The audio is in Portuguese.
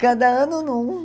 Cada ano, em um.